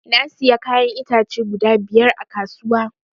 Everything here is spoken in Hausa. Na siya kayan itace guda biyar a kasuwa